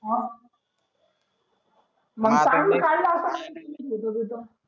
मग मग चांगला होत